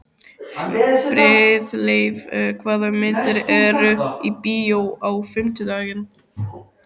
Friðleif, hvaða myndir eru í bíó á fimmtudaginn?